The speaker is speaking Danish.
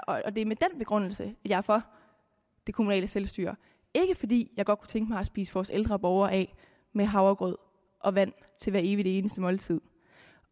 og det er med den begrundelse at jeg er for det kommunale selvstyre ikke fordi jeg godt kunne tænke mig at spise vores ældre borgere af med havregrød og vand til hvert evig eneste måltid